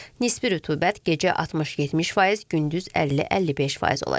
Nisbi rütubət gecə 60-70%, gündüz 50-55% olacaq.